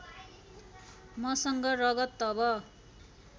मसँग रगत तब